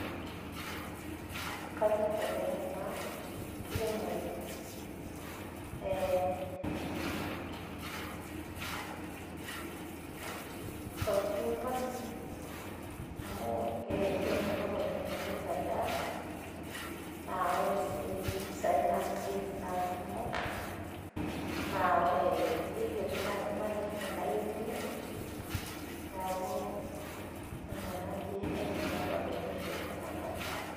Kanyorr oleng' ena kiremore e... cucumber amu kemelok oleng' tenipik endaa naa ore sii impisai naamirieki naa ikumok, naa ikiti naaji management nayieu ninye, neeku ina naaji aidim nanu atonyorrie ena bae